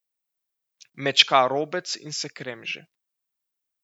Mečka robec in se kremži.